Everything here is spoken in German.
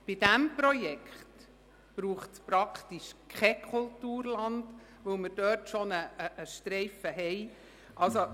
Beim vorliegenden Projekt braucht es fast kein Kulturland, weil wir dort bereits einen Streifen Land haben.